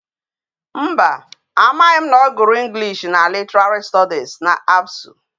Mba, amaghi m na o guru English na literary studies na Absu